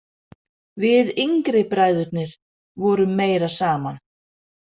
Við yngri bræðurnir vorum meira saman.